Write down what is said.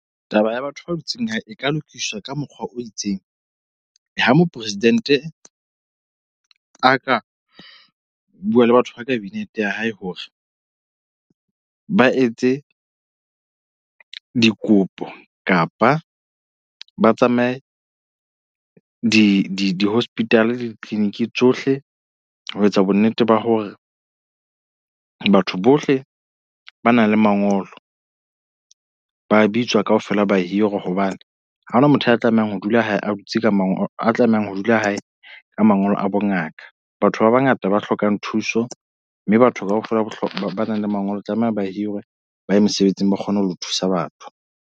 Taba ya batho ba dutseng hae e ka lokiswa ka mokgwa o itseng. Ha mopresidente a ka bua le batho ba kabinete ya hae hore ba etse dikopo kapa ba tsamaye di di di-hospital di-clinic tsohle. Ho etsa bonnete ba hore batho bohle ba na le mangolo ba bitswa kaofela ba hirwe hobane ha hona motho a tlamehang ho dula hae. A dutse ka mangolo a tlamehang ho dula hae ka mangolo a bongaka. Batho ba bangata ba hlokang thuso mme batho kaofela ba nang le mangolo tlameha ba hirwe ba ye mesebetsing, ba kgone ho thusa batho.